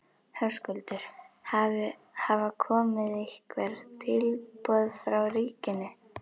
Höskuldur: Hafa komið einhver tilboð frá ríkinu?